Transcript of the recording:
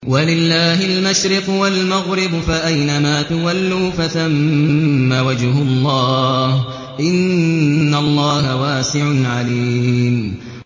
وَلِلَّهِ الْمَشْرِقُ وَالْمَغْرِبُ ۚ فَأَيْنَمَا تُوَلُّوا فَثَمَّ وَجْهُ اللَّهِ ۚ إِنَّ اللَّهَ وَاسِعٌ عَلِيمٌ